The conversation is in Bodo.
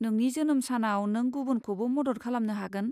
नोंनि जोनोम सानाव नों गुबुनखौबो मदद खालामनो हागोन।